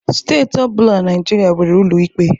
Steeti ọ bụla na Naịjirịa nwere ụlọ ikpe.